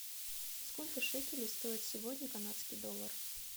сколько шекелей стоит сегодня канадский доллар